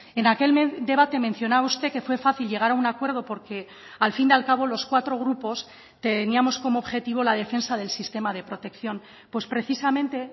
en aquel debate mencionaba usted que fue fácil llegar a un acuerdo porque al fin y al cabo los cuatro grupos teníamos como objetivo la defensa del sistema de protección pues precisamente